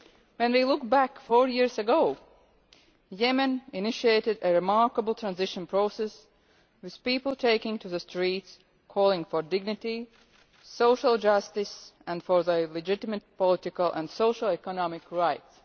When we look back four years ago, Yemen initiated a remarkable transition process, with people taking to the streets calling for dignity, social justice, and their legitimate political and socio economic rights.